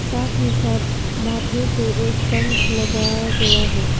साथ ही साथ माथे पे एक पंख लगाया गया है।